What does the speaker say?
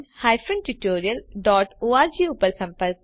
જોડાવા બદ્દલ આભાર